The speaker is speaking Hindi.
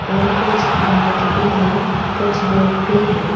और कुछ बाइक भी हैं कुछ लोग भी हैं।